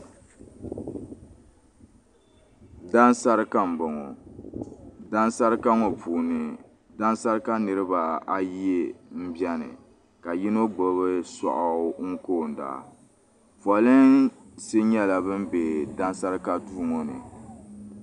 Dansarika m-bɔŋɔ dansarika ŋɔ puuni dansarika niriba ayi m-beni ka yino gbubi sɔɣu n-koonda polinsi nyɛla ban be dansarika duu ŋɔ ni.